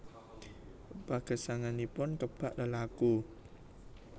Pagesanganipun kebak lelaku